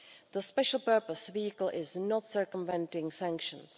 The special purpose vehicle is not circumventing sanctions.